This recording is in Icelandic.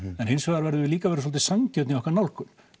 en við verðum líka að vera sanngjörn í okkar nálgun